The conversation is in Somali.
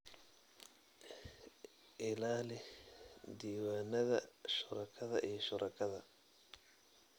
Ilaali diiwaannada shuraakada iyo shuraakada